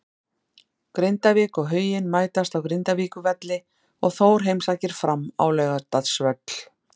Grindavík og Huginn mætast á Grindavíkurvelli og Þór heimsækir Fram á Laugardalsvöll.